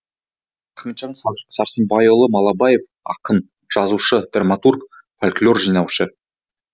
рахметжан сәрсенбайұлы малабаев ақын жазушы драматург фольклор жинаушы